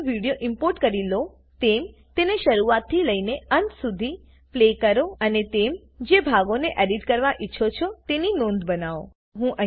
જેમ તમે video import કરી લો તેમ તેને શરૂઆતથી લઈને અંત સુધી પ્લે કરો અને તમે જે ભાગોને એડિટ કરવા ઈચ્છો છો તેની નોંધ બનાવો